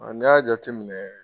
n'i y'a jateminɛ